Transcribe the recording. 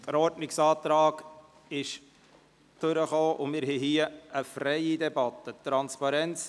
Der Ordnungsantrag dazu kam durch, sodass wir hier eine freie Debatte führen.